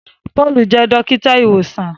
Paul jẹ dókítà ìwòsàn.